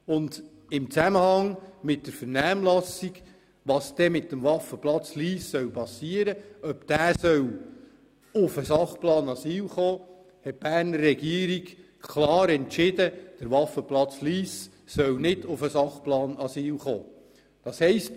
In Zusammenhang mit der Vernehmlassung und der Frage, was mit dem Waffenplatz in Lyss geschehen soll, also ob er in den Sachplan Asyl aufgenommen werden soll, hat die Berner Regierung klar entschieden, dass der Waffenplatz Lyss nicht in den Sachplan Asyl aufgenommen werden soll.